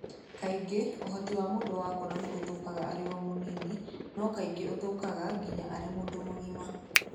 Kaingĩ ũhoti wa mũndũ wa kuona nĩ ũthũkaga arĩ o mũnini, no kaingĩ ũthũkaga nginya arĩ mũndũ mũgima.